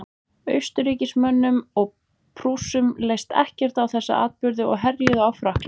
austurríkismönnum og prússum leist ekkert á þessa atburði og herjuðu á frakkland